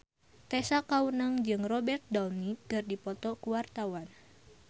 Tessa Kaunang jeung Robert Downey keur dipoto ku wartawan